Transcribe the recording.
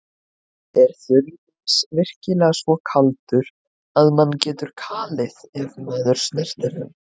Er þurrís virkilega svo kaldur að mann getur kalið ef maður snertir hann?